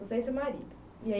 Você e seu marido e aí